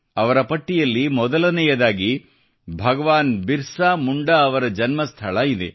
ಅವರ ಪಟ್ಟಿಯಲ್ಲಿ ಮೊದಲನೆಯದಾಗಿ ಹೆಸರು ಭಗವಾನ್ ಬಿರ್ಸಾ ಮುಂಡಾ ಅವರ ಜನ್ಮಸ್ಥಳ ಇದೆ